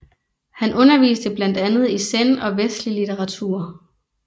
Han underviste blandt andet i zen og vestlig litteratur